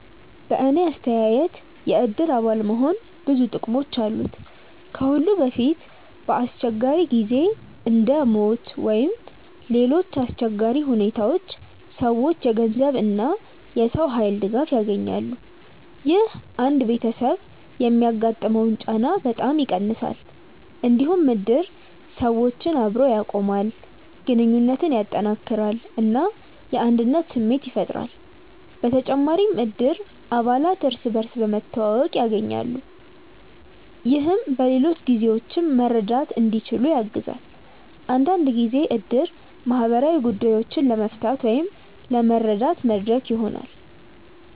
በእኔ አስተያየት የእድር አባል መሆን ብዙ ጥቅሞች አሉት። ከሁሉ በፊት በአስቸጋሪ ጊዜ እንደ ሞት ወይም ሌሎች አሰቸጋሪ ሁኔታዎች ሰዎች የገንዘብ እና የሰው ኃይል ድጋፍ ያገኛሉ። ይህ አንድ ቤተሰብ የሚያጋጥመውን ጫና በጣም ይቀንሳል። እንዲሁም እድር ሰዎችን አብሮ ያቆማል፣ ግንኙነትን ያጠናክራል እና የአንድነት ስሜት ያፈጥራል። በተጨማሪም እድር አባላት እርስ በርስ መተዋወቅ ያገኛሉ፣ ይህም በሌሎች ጊዜዎችም መርዳት እንዲችሉ ያግዛል። አንዳንድ ጊዜ እድር ማህበራዊ ጉዳዮችን ለመፍታት ወይም ለመረዳት መድረክ ይሆናል።